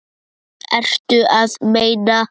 Ertu að meina?